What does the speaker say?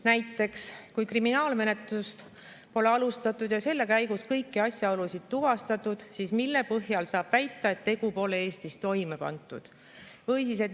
Näiteks: kui kriminaalmenetlust pole alustatud ja selle käigus kõiki asjaolusid tuvastatud, siis mille põhjal saab väita, et tegu pole Eestis toime pandud?